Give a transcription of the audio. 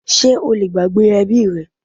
Sé o lè gbàgbé ẹbí rẹ?